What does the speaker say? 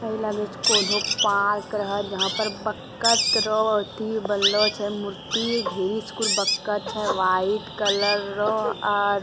ऐ लगे छै कोनो पार्क रहे जहाँ पर बत्तख रो अथी बनलो छै मूर्ति ढेरिक बत्तख व्हाइट कलरो आर --